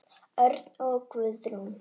Örn og Guðrún.